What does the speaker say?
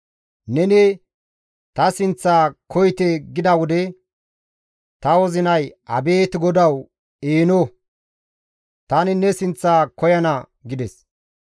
Neni, «Ta sinththa koyite» gida wode, ta wozinay, «Abeet GODAWU! Eeno; tani ne sinththa koyana» gides.